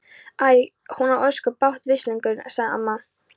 Æ, hún á ósköp bágt, veslingurinn sagði amma.